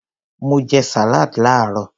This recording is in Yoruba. Mo jẹ salad laarọ.